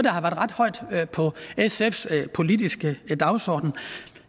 har været ret højt på sfs politiske dagsorden